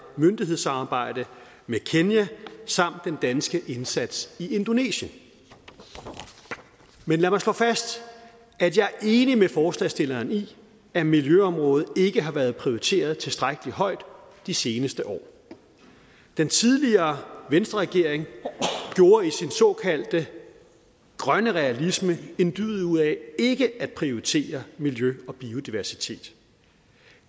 myndighedsarbejde med kenya samt den danske indsats i indonesien men lad mig slå fast at jeg er enig med forslagsstillerne i at miljøområdet ikke har været prioriteret tilstrækkelig højt de seneste år den tidligere venstreregering gjorde i sin såkaldte grønne realisme en dyd ud af ikke at prioritere miljø og biodiversitet